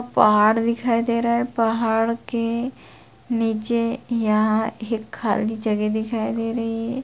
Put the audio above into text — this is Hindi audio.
पहाड़ दिखाई दे रहे है पहाड़ के नीचे यहाँ एक खाली जगह दिखाई दे रही है।